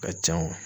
Ka ca